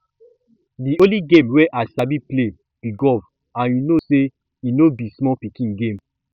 the only game wey i sabi play be golf and you know say e no be small pikin game